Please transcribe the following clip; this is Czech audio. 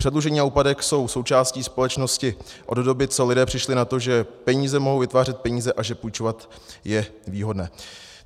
Předlužení a úpadek jsou součástí společnosti od doby, co lidé přišli na to, že peníze mohou vytvářet peníze a že půjčovat je výhodné.